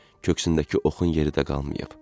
Köksündəki oxun yeri də qalmayıb.